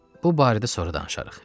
Bu barədə sonra danışarıq.